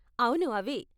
అవును, అవే.